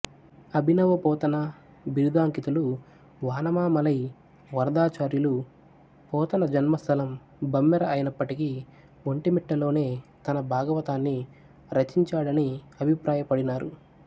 అభినవ పోతన బిరుదాంకితులు వానమామలై వరదాచార్యులు పోతన జన్మస్థలం బమ్మెర అయినప్పటికీ ఒంటిమిట్టలోనే తన భాగవతాన్ని రచించాడని అభిప్రాయపడినారు